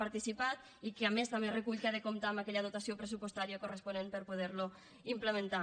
participat i que a més també recull que ha de comptar amb aquella dotació pressupostària corresponent per poder lo implementar